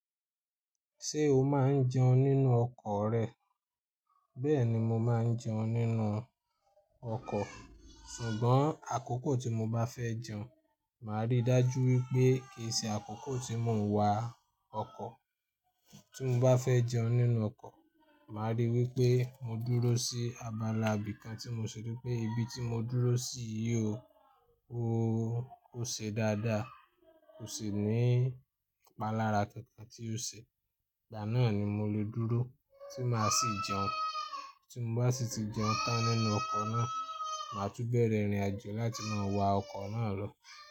Ṣé o máa ń jẹun nínú ọkọ̀ rẹ? Bẹ́ẹ̀ni mo máa ń jẹun nínú ọkọ̀, ṣùgbọ́n àkókò tí mo bá fẹ́ jẹun, màá rí dájú wípé kì í ṣe àkókò tí mò ń wa ọkọ̀. Tí mo bá fẹ́ jẹun nínú ọkọ̀, màá rí wípé mo dúró sí abala ibìkan tí mo ṣi ripé, ibi tí mo dúró sì yóò, ó ṣe dáadáa, kò sì ní ìpalára kankan tí ó ṣe. Ìgbà náà ni mo lè dúró tí mà á sì jẹun. Tí mo bá sì ti jẹun tán nínú ọkọ̀ náà, màá tún bẹ̀rẹ̀ ìrìnàjò láti máa wa ọkọ̀ náà lọ.